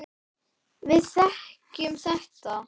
Við þekkjum þetta.